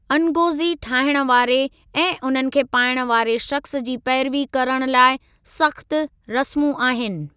अनगोज़ी ठाहिणु वारे ऐं उन्हनि खे पाइणु वारे शख़्सु जी पैरवी करणु लाइ सख़्तु रस्मूं आहिनि।